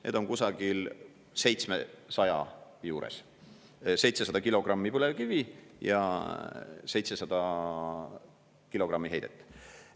Need on kusagil 700 juures, 700 kilogrammi põlevkivi ja 700 kilogrammi heidet.